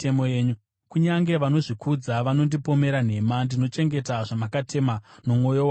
Kunyange vanozvikudza vakandipomera nhema, ndinochengeta zvamakatema nomwoyo wangu wose.